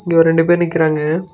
இங்க ஒரு ரெண்டு பேர் நிக்கறாங்க.